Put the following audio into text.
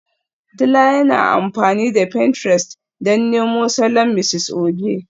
Dila yana amfani da pinterest don nemo salon Mrs Oge